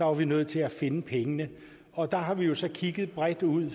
var vi nødt til at finde pengene og der har vi jo så kigget bredt ud